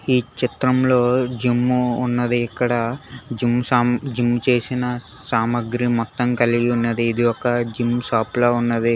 ఈ చిత్రంలో జిమ్మూ ఉన్నది ఇక్కడ జిమ్ జిమ్ చేసినా సామాగ్రి మొత్తం కలిగి ఉన్నది ఇది ఒక జిమ్ షాప్ లా ఉన్నది.